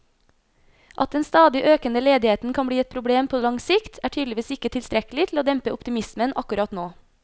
At den stadig økende ledigheten kan bli et problem på lang sikt, er tydeligvis ikke tilstrekkelig til å dempe optimismen akkurat nå.